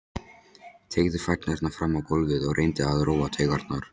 Teygði fæturna fram á gólfið og reyndi að róa taugarnar.